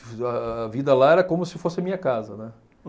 A vida lá era como se fosse a minha casa, né.